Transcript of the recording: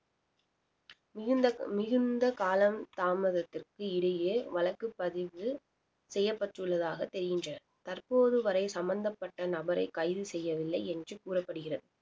மிகுந்த மிகுந்த காலம் தாமதத்திற்கு இடையே வழக்குப் பதிவு செய்யப்பட்டுள்ளதாகத் தெரிகின்றது தற்போது வரை சம்பந்தப்பட்ட நபரை கைது செய்யவில்லை என்று கூறப்படுகிறது